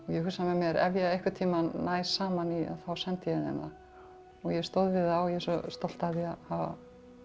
ég hugsa með mér að ef ég einhvern tímann næ saman í þá sendi ég þeim það og ég stóð við það og ég er svo stolt af því að hafa